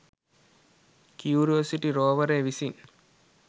Curiosity රෝවරය විසින්